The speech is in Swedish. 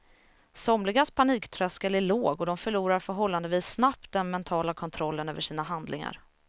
Somligas paniktröskel är låg och de förlorar förhållandevis snabbt den mentala kontrollen över sina handlingar.